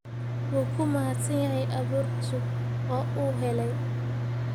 Wuu ku mahadsan yahay abuur cusub oo uu helay.